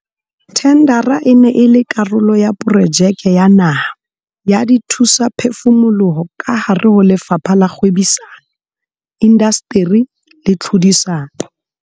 Thendara e ne e le karolo ya Projeke ya Naha ya Dithusaphefumoloho kahare ho Lefapha la Kgwebisano, Indasteri le Tlhodisano.